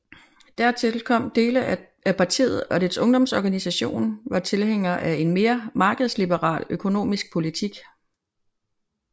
Dertil kom at dele af partiet og dets ungdomsorganisation var tilhængere af en mere markedsliberal økonomisk politik